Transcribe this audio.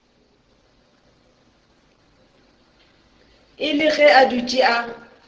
ile ge a dutše a